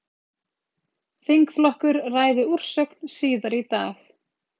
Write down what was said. Þingflokkur ræði úrsögn síðar í dag